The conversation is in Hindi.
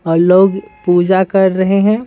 और लोग पूजा कर रहे हैं।